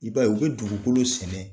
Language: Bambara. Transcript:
I b'a ye u bɛ dugukolo sɛnɛ.